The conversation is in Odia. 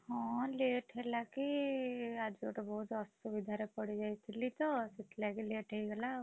ହଁ late ହେଲା କି ଆଜି ଗୋଟେ ବହୁତ ଅସୁବିଧାରେ ପଡ଼ିଯାଇଥିଲିତ, ସେଥିଲାଗି late ହେଇଗଲା ଆଉ।